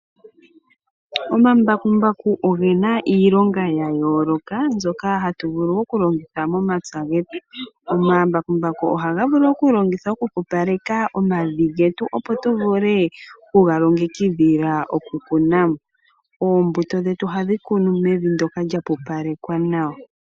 Omambakumbaku oge na iilonga ya yooloka mbyoka hatu vulu okulongitha momapya getu. Omambakumbaku ohaga vulu okulongithwa okupupaleka omavi getu opo tu vule oku ga longekidhila okukuna mo. Oombuto dhetu ohadhi kunwa mevi ndyoka lya pupalekwa nawa.